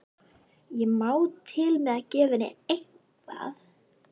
Ég má til með að gefa henni eitthvað.